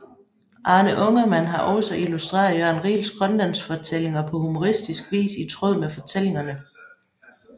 Arne Ungermann har også illustreret Jørn Riels Grønlandsfortællinger på humoristisk vis i tråd med fortællingerne